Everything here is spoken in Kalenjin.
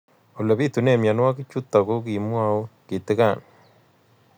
Ole pitune mionwek chutok ko kimwau kitig'�n